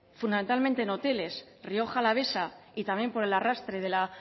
fundamentalmente en hoteles rioja alavesa y también por el arrastre de la